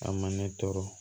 A ma ne tɔɔrɔ